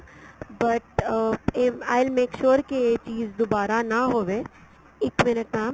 but uh I will make sure ਕੀ ਇਹ ਚੀਜ ਦੁਬਾਰਾ ਨਾ ਹੋਵੇ ਇੱਕ minute mam